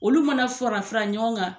Olu mana fɔra fara ɲɔgɔn kan